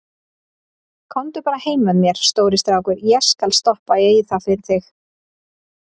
Komdu bara heim með mér, stóri strákur, ég skal stoppa í það fyrir þig.